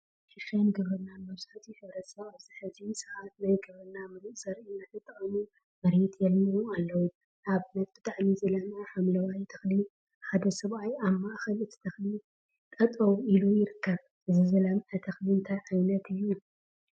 ሕርሻን ግብርናን መብዛሕትኡ ሕብረተሰብ አብዚ ሕዚ ሰዓት ናይ ግብርና ሙሩፅ ዘርኢ እናተጠቀሙ መሬት የልምዑ አለው፡፡ ንአብነት ብጣዕሚ ዝለምዐ ሓምለዋይ ተክሊ ሓደ ሰብአይ አብ ማእከል እቲ ተክሊ ጠጠው ኢሉ ይርከብ፡፡ እዚ ዝለምዐ ተክሊ እንታይ ዓይነት እዩ?